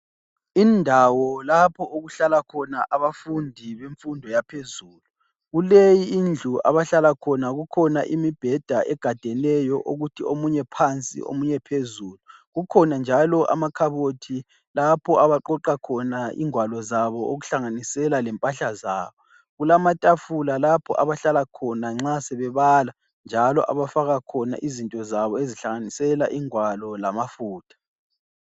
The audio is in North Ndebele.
Indawo lapho okuhlala khona abafundi bemfundo yaphezulu, kuleyi indlu abahlala khona. Kukhona imibheda egadeneyo ukuthi omunye phansi omunye phezulu. Kukhona njalo amakhabothi lapho abaqoqa khona ingwalo zabo, okuhlanganisela lempahla zabo. Kulamatafula abahlala khona nxa sebebala njalo abafaka khona izinto zabo, okuhlanganisela ingwalo lama futha.